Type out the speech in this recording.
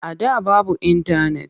A da babu intanet.